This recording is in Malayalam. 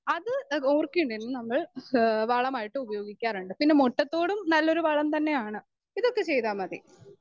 സ്പീക്കർ 2 അത് ആ ഓർക്കിഡിന് നമ്മൾ ഹ് വളമായിട്ട് ഉപയോഗിക്കാറുണ്ട്.പിന്നെ മുട്ടത്തോടും നല്ലൊരു വളംതന്നെയാണ് ഇതൊക്കെചെയ്താൽ മതി.